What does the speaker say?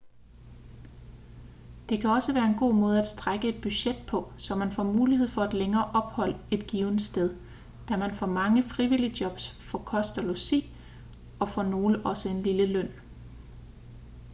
det kan også være en god måde at strække et budget på så man får mulighed for et længere ophold et givent sted da man for mange frivilligjobs får kost og logi og for nogle også en lille løn